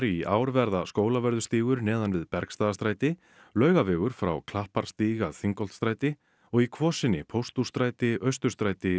í ár verða Skólavörðustígur neðan við Bergstaðastræti Laugavegur frá Klapparstíg að Þingholtsstræti og í Kvosinni Pósthússtræti Austurstræti